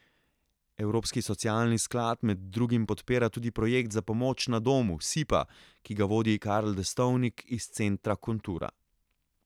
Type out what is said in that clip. Evropski socialni sklad med drugim podpira tudi projekt za pomoč na domu Sipa, ki ga vodi Karel Destovnik iz Centra Kontura.